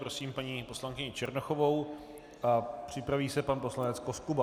Prosím paní poslankyni Černochovou a připraví se pan poslanec Koskuba.